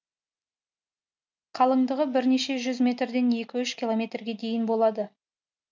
қалыңдығы бірнеше жүз метрден екі үш километрге дейін болады